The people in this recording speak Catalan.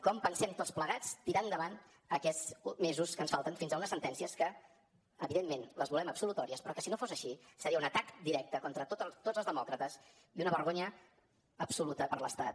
com pensem tots plegats tirar endavant aquests mesos que ens falten fins a unes sentències que evidentment les volem absolutòries però que si no fossin així serien un atac directe contra tots els demòcrates i una vergonya absoluta per a l’estat